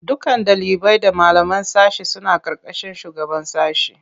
Dukkan ɗalibai da malaman sashe suna ƙarƙashin shugaban sashe.